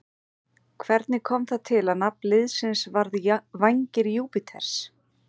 Hvernig kom það til að nafn liðsins varð Vængir Júpíters?